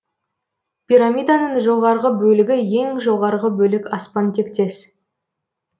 пирамиданың жоғарғы бөлігі ең жоғарғы бөлік аспан тектес